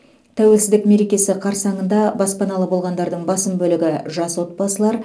тәуелсіздік мерекесі қарсаңында баспаналы болғандардың басым бөлігі жас отбасылар